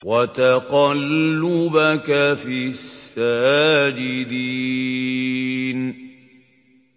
وَتَقَلُّبَكَ فِي السَّاجِدِينَ